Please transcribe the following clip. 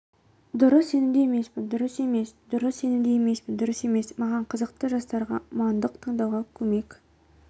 дұрыс сенімді емеспін дұрыс емес дұрыс сенімді емеспін дұрыс емес маған қызықты жастарға мандық таңдауға көмек